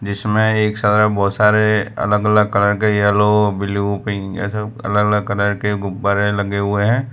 जीसमें एक सा बहोत सारे अलग अलग कलर के येलो ब्लू पिंक ऐसे अलग अलग कलर के गुब्बारे लगे हुए हैं।